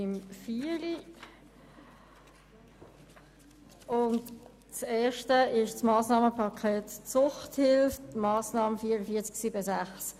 Im ersten geht es um das Massnahmenpaket Suchthilfe betreffend die Massnahme 44.7.6.